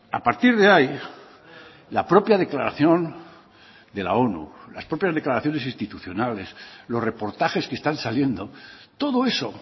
a partir de ahí la propia declaración de la onu las propias declaraciones institucionales los reportajes que están saliendo todo eso